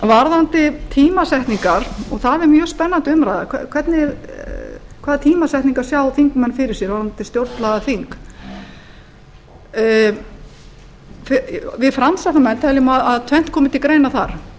varðandi tímasetningar og það er mjög spennandi umræða hvaða tímasetningar sjá þingmenn fyrir sér fyrir stjórnlagaþing við framsóknarmenn teljum að tvennt komi til greina þar